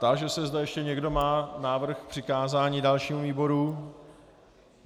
Táži se, zda ještě někdo má návrh k přikázání dalšímu výboru.